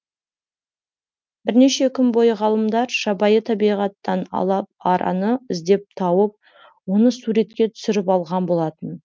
бірнеше күн бойы ғалымдар жабайы табиғаттан алып араны іздеп тауып оны суретке түсіріп алған болатын